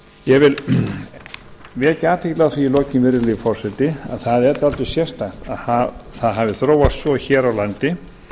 ég vil vekja athygli á því í lokin virðulegi forseti að það er dálítið sérstakt að það hafi þróast svo hér á landi